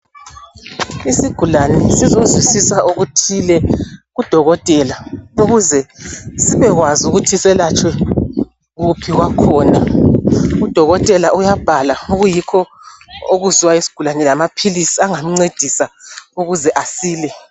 Isigulane sizozwisisa okuthile kudokotela ukuze sibekwazi ukuthi selatshwe kuphi kwakhona. Udokotela uyabhala okuyikho okuziwa yisigulane lamaphilisi angamncedisa ukuze asile.